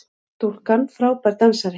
Stúlkan frábær dansari!